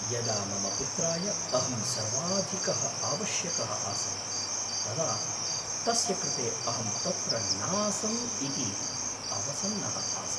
यदा मम पुत्राय अहं सर्वाधिकः आवश्यकः आसं, तदा तस्य कृते अहं तत्र नासम् इति अवसन्नः आसम्।